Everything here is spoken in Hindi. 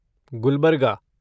गुलबर्गा